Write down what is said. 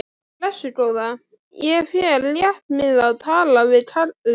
Blessuð góða, ég fer létt með að tala við kallinn.